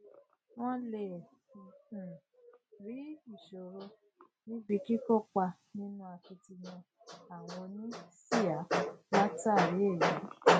wọn lè um rí ìṣòro níbi kíkópa nínú akitiyan àwọn oníṣíà látàrí èyí